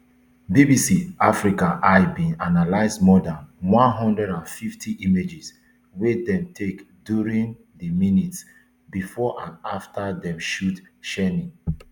bbc africa eye bin analyse more dan one hundred and fifty images wey dem take during di minutes bifor and afta dem shoot shieni